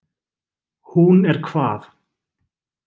Hún er hvað.